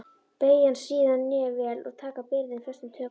Beygja síðan hné vel og taka byrðina föstum tökum.